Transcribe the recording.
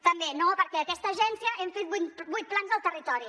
també no perquè aquesta agència hem fet vuit plans al territori